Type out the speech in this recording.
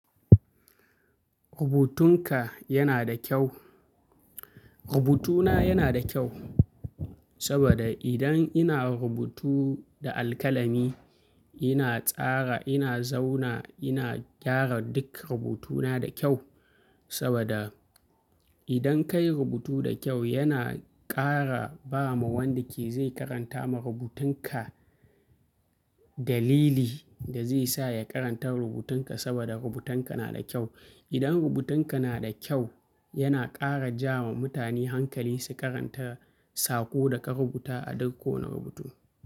Rubutunka yana da kyau. Rubutuna yana da kyau, saboda idan ina rubutu da alkalami, ina tsara, ina zauna, ina gyara duk rubutuna da kyau. Saboda idan ka yi rubutu da kyau yana ƙara ba ma wanda ke zai karanta ma rubutunka dalili da zai sa ya karanta rubutunka saboda rubutunka na da kyau. Idan rubutunka na da kyau yana ƙara ja ma mutane hankali su karanta sako da ka rubuta a duk kowane rubutu.